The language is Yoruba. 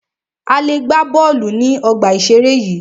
A lè gbà bọ́ọ̀lù ní ọgbà ìseré yìí